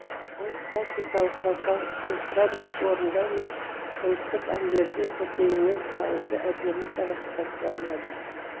ол классикалық вокал эстрадалық орындау мен ұлттық әндерді көкейімен салуды әдемі сабақтастыра алады